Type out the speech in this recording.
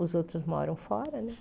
Os outros moram fora, né?